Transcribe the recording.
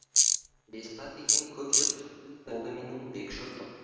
бес ата деген көп жұртым ол да менің бек жұртым